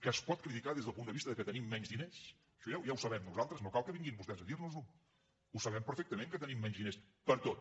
que es pot criticar des del punt de vista que tenim menys diners això ja ho sabem nosaltres no cal que vinguin vostès a dir nos ho ho sabem perfectament que tenim menys diners per a tot